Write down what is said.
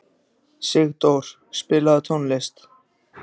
Sigdór, spilaðu tónlist.